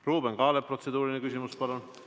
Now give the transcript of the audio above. Ruuben Kaalep, protseduuriline küsimus, palun!